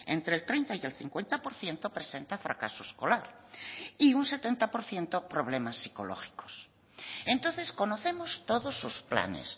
entre el treinta y el cincuenta por ciento presenta fracaso escolar y un setenta por ciento problemas psicológicos entonces conocemos todos sus planes